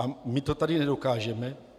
A my to tady nedokážeme?